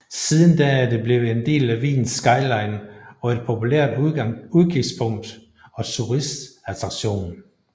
Siden da er det blevet en del af Wiens skyline og et populært udkigspunkt og turistattraktion